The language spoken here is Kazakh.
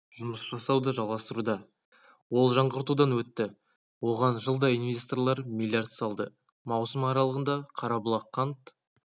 жұмыс жасауды жалғастыруда ол жаңғыртудан өтті оған жылда инвесторлар млрд салды маусым аралығында қарабұлақ қант